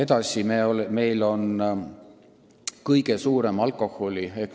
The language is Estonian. Palun, kolm minutit juurde!